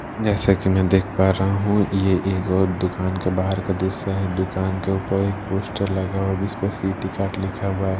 जैसा कि मैं देख पा रहा हूं यह एक और दुकान के बाहर का दृश्य है दुकान के ऊपर एक पोस्टर लगा हुआ है जिस पर सिटी कार्ड लिखा हुआ है।